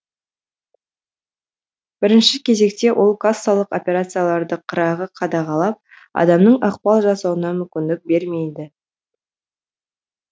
бірінші кезекте ол кассалық операцияларды қырағы қадағалап адамның ықпал жасауына мүмкіндік бермейді